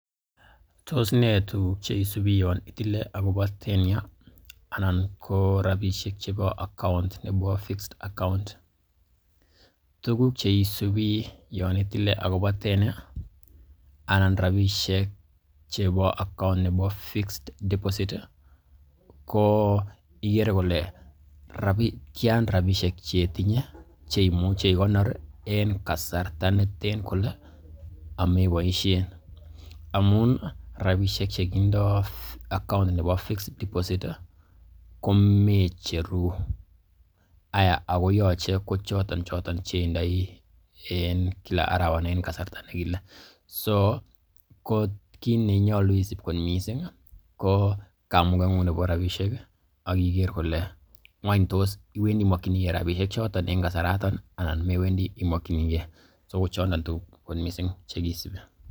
Tos nee tuguk che isubi yon itile agobo tenure anan ko rabisiek chebo account nebo fixed diposit? Tuguk che isubi yon itile agobo tenure anan rabishek chebo account nebo fixed deposit ko igere kole tyan rabishek che itinye che imuche ikonor en kasarta neten kole ameboishen, amun rabishek che kindo account nebo fixed deposit ko mecheru aya ago yoche kochotonchoton che indoi en kila arawa anan en kasarta nekile. So ko kiit nenyolu isib kot misng ko kamugeng'ung nebo rabishek ak iger kole ng'awny tos imokiige rabishek choton en kasaraton anan mewendi imokinige? So ko chondon tuguk che kisubi.